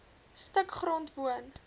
stuk grond woon